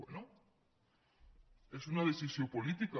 bé és una decisió política